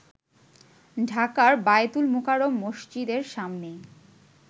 ঢাকার বায়তুল মোকাররম মসজিদের সামনে